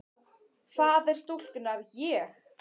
Faðir stúlkunnar: Ég?